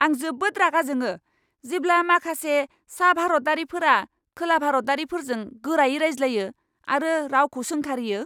आं जोबोद रागा जोङो, जेब्ला माखासे सा भारतारिफोरा खोला भारतारिफोरजों गोरायै रायज्लायो आरो रावखौ सोंखारियो!